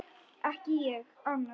Ekki ég: annar.